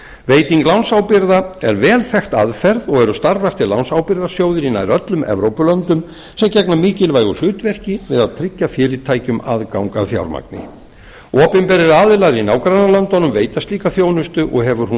veiting lánsábyrgða er vel þekkt aðferð og eru starfræktir lánsábyrgðarsjóðir í nær öllum evrópulöndum sem gegna mikilvægu hlutverki við að tryggja fyrirtækjum aðgang að fjármagni opinberir aðilar í nágrannalöndunum veita slíka þjónustu og hefur hún